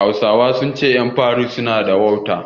Hausawa sun ce ƴan fari su na da wauta